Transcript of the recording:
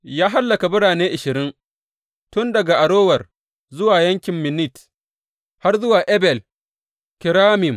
Ya hallaka birane ashirin tun daga Arower zuwa yankin Minnit, har zuwa Abel Keramim.